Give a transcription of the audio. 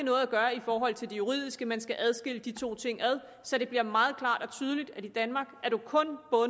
at gøre i forhold til det juridiske man skal adskille de to ting så det bliver meget klart og tydeligt at man i danmark kun